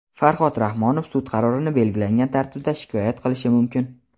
Farhod Rahmonov sud qarorini belgilangan tartibda shikoyat qilishi mumkin.